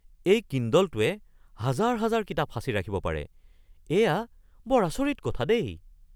এই কিণ্ডলটোৱে হাজাৰ হাজাৰ কিতাপ সাঁচি ৰাখিব পাৰে। এয়া বৰ আচৰিত কথা দেই!